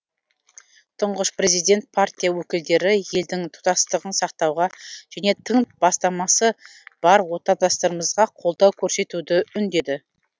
тұңғыш президент партия өкілдері елдің тұтастығын сақтауға және тың бастамасы бар отандастарымызға қолдау көрсетуді үндеді